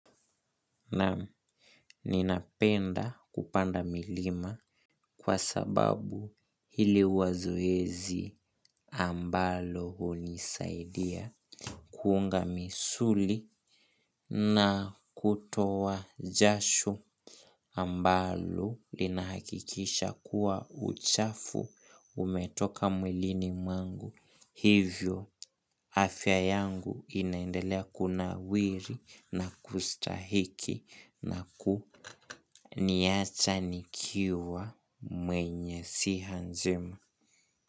Naam ninapenda kupanda milima kwa sababu hili huwa zoezi ambalo hunisaidia kuunga misuli na kutoa jasho ambalo linahakikisha kuwa uchafu umetoka mwilini mwangu. Hivyo, afya yangu inaendelea kunawiri na kustahiki na kuniacha nikiwa mwenye siha njema.